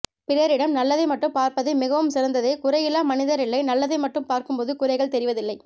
பிறரிடம் நல்லதை மட்டும் பார்ப்பது மிகவும் சிறந்ததே குறையில்லா மனிதரில்லை நல்லதை மட்டும் பார்க்கும்போது குறைகள் தெரிவதில்லை